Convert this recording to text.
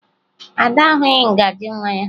Ada ahụghị ngaji nwa ya